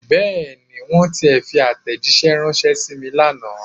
Bẹ́ẹ̀ni. Wọ́n tiẹ̀ fi àtẹ̀jíṣẹ́ ránṣẹ́ sí mi lánàá.